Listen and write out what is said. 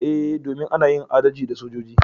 Eh, domin ana yin adalci da sojoji.